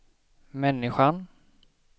människan